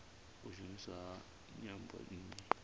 u shumiswa ha nyambo nnzhi